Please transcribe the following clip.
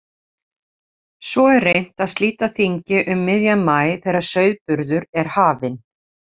Svo er reynt að slíta þingi um miðjan maí þegar sauðburður er hafinn.